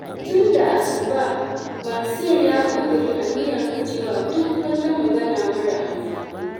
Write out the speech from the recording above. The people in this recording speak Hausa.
Tun da asuba, Mansur ya ƙudiri aniyar gujewa duk wata magana mara amfani.